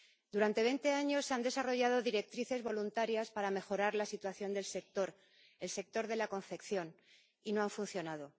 Durante veinte años se han desarrollado directrices voluntarias para mejorar la situación del sector, el sector de la confección, y no han funcionado.